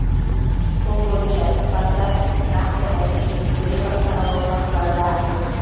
сол бойынша іс бастап нақты нәтижесін көре бастаған отбасылар да аз емес